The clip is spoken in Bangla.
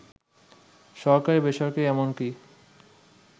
সরকারি, বেসরকারি এমনকি